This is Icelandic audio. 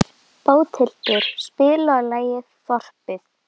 Bóthildur, spilaðu lagið „Þorpið“.